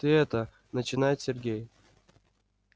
ты это начинает сергей